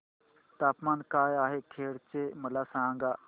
तापमान काय आहे खेड चे मला सांगा